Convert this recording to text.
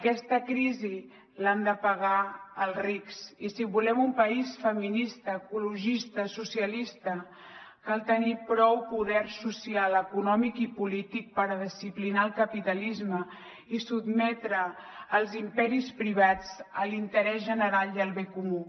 aquesta crisi l’han de pagar els rics i si volem un país feminista ecologista socialista cal tenir prou poder social econòmic i polític per disciplinar el capitalisme i sotmetre els imperis privats a l’interès general i al bé comú